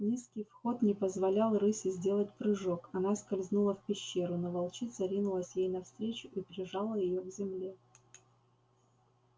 низкий вход не позволял рыси сделать прыжок она скользнула в пещеру но волчица ринулась ей навстречу и прижала её к земле